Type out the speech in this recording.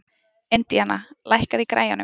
Indiana, lækkaðu í græjunum.